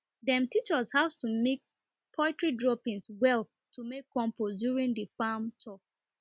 dem teach us how to mix poultry droppings well to make compost during the farm tour